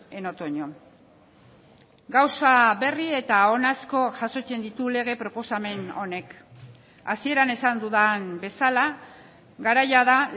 en otoño gauza berri eta on asko jasotzen ditu lege proposamen honek hasieran esan dudan bezala garaia da